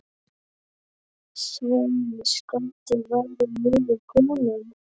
Sveinn skotti væri niður kominn.